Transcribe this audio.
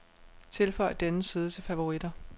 Tilføj denne side til favoritter.